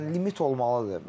Hə, yəni limit olmalıdır.